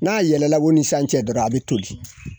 N'a yɛlɛla o ni san cɛ dɔrɔn, a bɛ tori!